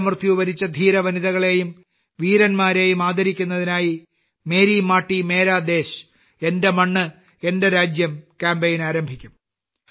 വീരമൃത്യു വരിച്ച ധീരവനിതകളെയും വീരന്മാരെയും ആദരിക്കുന്നതിനായി മേരി മാട്ടി മേരാ ദേശ് എന്റെ മണ്ണ് എന്റെ രാജ്യം ക്യാമ്പയിൻ ആരംഭിക്കും